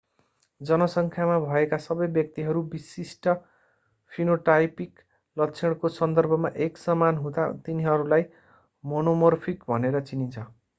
जनसङ्ख्यामा भएका सबै व्यक्तिहरू विशिष्ट फिनोटाइपिक लक्षणको सन्दर्भमा एकसमान हुँदा तिनीहरूलाई मोनोमोर्फिक भनेर चिनिन्छ